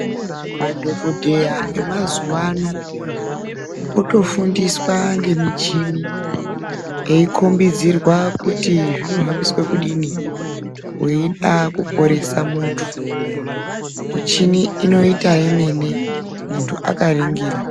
Madhogodheya emazuva ano otofundiswa ngemichini eikhombidzirwa kuti zvinohambiswe kudini weida kuporese muntu. Michini inoita yemene muntu akaringira.